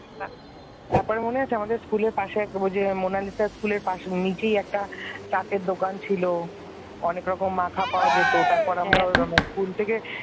তারপর মনে আছে আমাদের school র পাশে ওই যে মোনালিসার school র পাশে school নিচে একটা চাটের দোকান ছিল অনেক রকম মাখা পাওয়া যেত। তারপর আমরা স্কুল থেকে,